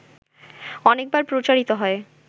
অনেকবার প্রচারিত হয়